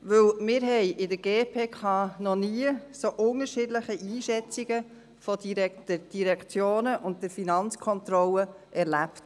Denn wir haben in der GPK noch nie so unterschiedliche Einschätzungen von Direktionen und der Finanzkontrolle erlebt.